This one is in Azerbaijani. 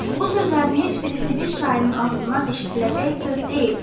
Bu sözlərinin heç birisi bir şairin ağzından eşidiləcək söz deyil.